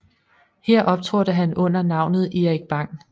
Her optrådte han under navnet Erik Bang